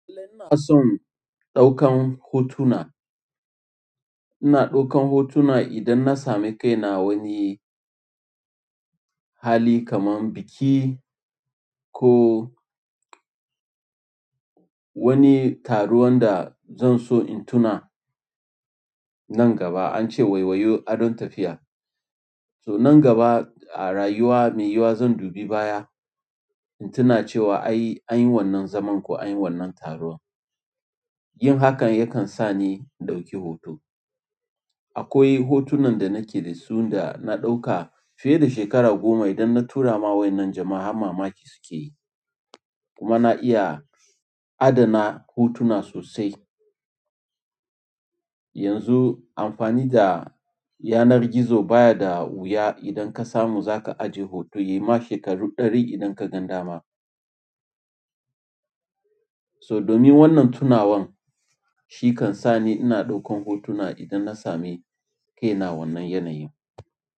Ina son ɗaukan hotuna. Ina ɗaukan hotuna idan na sami kaina a wani hali kamar biki ko wani taro wanda zan so in tuna nan gaba. Ance waiwaye adon tafiya so nan gaba a rayuwa mai yiyuwa zan dubi baya, in tuna cewa an yi wannan zaman ko an yi wannan taron. Yin hakan yakan sa ni in ɗauki hoto. Akwai hotunan da nake da su da na ɗauka fiye da shekara goma idan na tura ma wannan jama'a har mamaki suke yi. Kuma na iya adana hotuna sosai. Yanzu amfani da yanar gizo baya da wuya idan ka samu za ka ajiye hoto, yi ma shekaru ɗari idan ka gan dama. So domin wannan tunawan shi kan sa ni ina ɗaukan hotuna idan na sami kaina wannan yanayin.